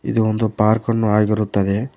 ಇಲ್ಲಿ ಒಂದು ಪಾರ್ಕ್ ಅನ್ನು ಆಗಿರುತ್ತದೆ.